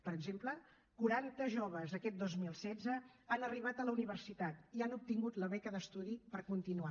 per exemple quaranta joves aquest dos mil setze han arribat a la universitat i han obtingut la beca d’estudi per continuar